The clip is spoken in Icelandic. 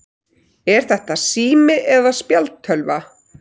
Er þetta sími eða spjaldtölva?